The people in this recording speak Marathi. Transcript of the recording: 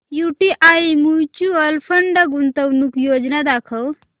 यूटीआय म्यूचुअल फंड गुंतवणूक योजना दाखव